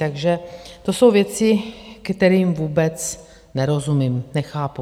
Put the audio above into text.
Takže to jsou věci, kterým vůbec nerozumím, nechápu.